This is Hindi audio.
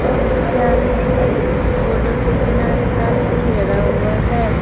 और विद्यालय के बॉर्डर के किनारे तरफ से घेरा हुआ है।